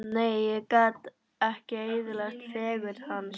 Nei, ég gat ekki eyðilagt fegurð hans.